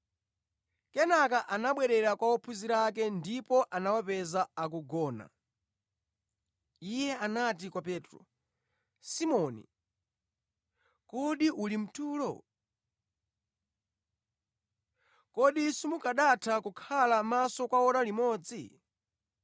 Kenaka anabwerera kwa ophunzira ake ndipo anawapeza akugona, Iye anati kwa Petro, “Simoni, kodi uli mtulo? Kodi simukanatha kukhala maso kwa ora limodzi?